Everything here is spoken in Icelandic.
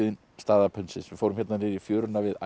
staða pundsins við fórum hérna niður í fjöruna við